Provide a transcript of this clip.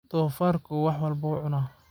Donfarku wax walbo wuu cunaa.